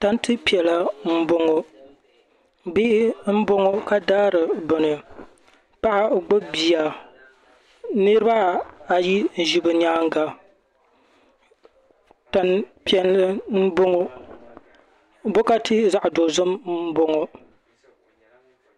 tanti piɛla n boŋo bihi n boŋo ka daari bini paɣa gbubi bia niraba ayi n ʒi bi nyaanga tani piɛlli n boŋo bokati zaɣ dozim n boŋo